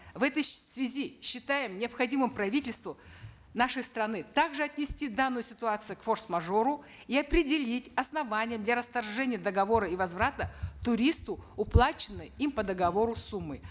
в этой связи считаем необходимым правительству нашей страны также отнести данную ситуацию к форс мажору и определить основания для расторжения договора и возврата туристу уплаченной им по договору суммы